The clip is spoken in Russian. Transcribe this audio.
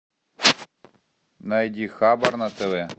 найди хабар на тв